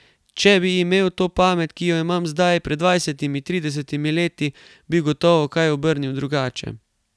Če bi imel to pamet, ki jo imam zdaj, pred dvajsetimi, tridesetimi leti, bi gotovo kaj obrnil drugače.